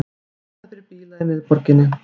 Lokað fyrir bíla í miðborginni